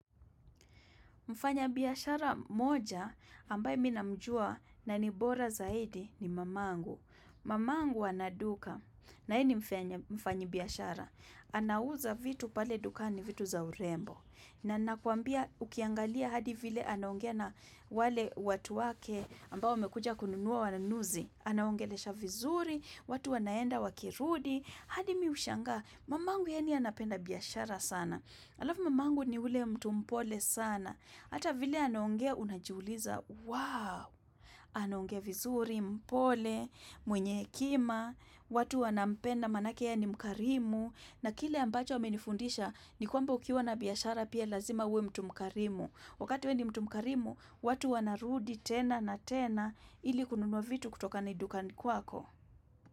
Mfanya biashara mmoja ambaye minamjua na nibora zaidi ni mamangu. Mamangu anaduka na yeye ni mfanyi biashara. Anauza vitu pale dukani vitu za urembo. Na nakuambia ukiangalia hadi vile anaongea na wale watu wake ambao wamekuja kununua wanunuzi. Anaongelesha vizuri, watu wanaenda wakirudi. Hadi mi hushangaa, mamangu yani anapenda biashara sana. Alafu mamangu ni ule mtumpole sana. Hata vile anaongea unajiuliza, wow, anaongea vizuri, mpole, mwenye hekima, watu wanampenda manake yeye ni mkarimu, na kile ambacho amenifundisha ni kwamba ukiwa na biashara pia lazima uwe mtu mkarimu. Wakati wewe ni mtu mkarimu, watu wanarudi tena na tena ili kununwa vitu kutoka na dukani kwako.